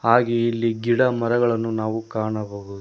ಹಾಗೆ ಇಲ್ಲಿ ಗಿಡಮರಗಳನ್ನು ನಾವು ಕಾಣಬಹುದು.